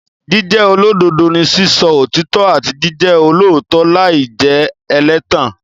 Jíjẹ́ olódodo ni sísọ òtítọ́ àti jíjẹ olóòótọ́ láì jẹ́ ẹlẹ́tàn.